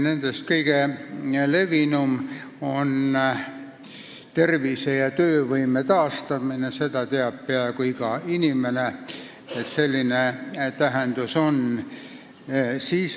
Nendest kõige levinum on tervise- ja töövõime taastamine – seda teab peaaegu iga inimene, et selline tähendus on.